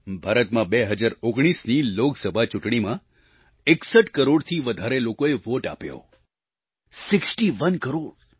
ભારતમાં 2019ની લોકસભા ચૂંટણીમાં 61 કરોડથી વધારે લોકોએ વોટ આપ્યો સિક્સ્ટી ઓને ક્રોર